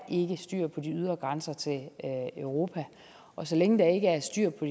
styr på de ydre grænser til europa og så længe der ikke er styr på